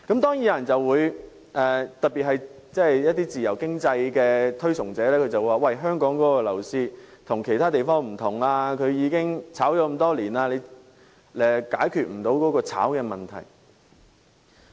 當然，有些人尤其是自由經濟的推崇者會表示香港的樓市與其他地方不同，因為炒賣情況多年如是，根本無法解決。